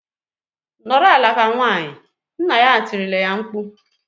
"Nọrọ ala ka nwaanyị!" Nna ya tirile ya mkpu.